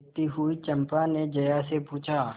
देखती हुई चंपा ने जया से पूछा